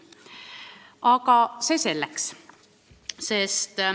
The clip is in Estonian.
Aga see selleks.